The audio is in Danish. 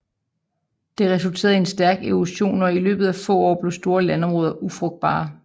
Det resulterede i en stærk erosion og i løbet af få år blev store landområder ufrugtbare